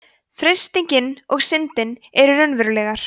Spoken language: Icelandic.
freistingin og syndin eru raunverulegar